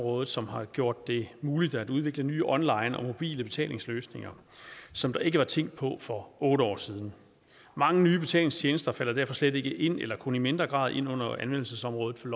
området som har gjort det muligt at udvikle nye online og mobile betalingsløsninger som der ikke var tænkt på for otte år siden mange nye betalingstjenester falder derfor slet ikke ind under eller kun i mindre grad ind under anvendelsesområdet for